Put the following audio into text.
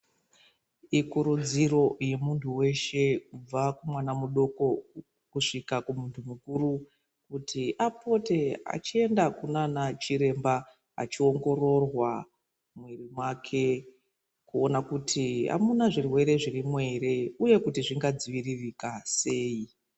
Ikurudziro ye muntu weshe kubva ku mwana mudoko kusvika ku mbundu mukuru kuti apote achienda kunana chiremba achi ongororwa mwiri wake kuona kuti amuna zvirwere zvirimo ere uye kuti zvinga dziviririka sei.